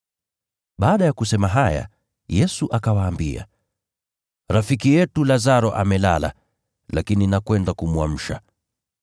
Baada ya kusema haya, Yesu akawaambia, “Rafiki yetu Lazaro amelala, lakini naenda kumwamsha.”